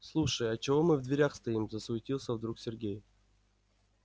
слушай а чего мы в дверях стоим засуетился вдруг сергей